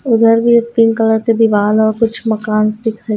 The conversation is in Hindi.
उधर भी एक पिंक कलर की दीवाल और कुछ मकान दिख रहे--